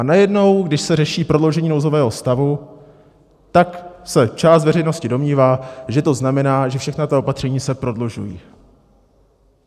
A najednou, když se řeší prodloužení nouzového stavu, tak se část veřejnosti domnívá, že to znamená, že všechna ta opatření se prodlužují.